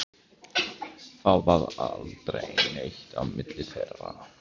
Það varð aldrei neitt á milli þeirra.